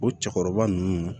O cɛkɔrɔba ninnu